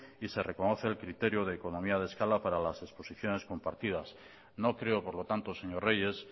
y se reconoce el criterio de economía de escala para las exposiciones compartidas no creo por lo tanto señor reyes